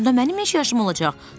Onda mənim neçə yaşım olacaq?